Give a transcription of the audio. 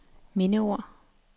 mindeord